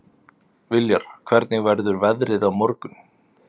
Viljar, hvernig verður veðrið á morgun?